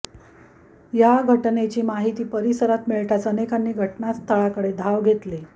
या घटनेची माहिती परिसरात मिळताच अनेकांनी घटनास्थळाकडे धाव घेतली